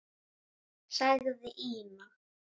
sagði Ína.